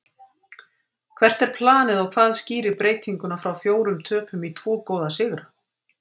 Hvert er planið og hvað skýrir breytinguna frá fjórum töpum í tvo góða sigra?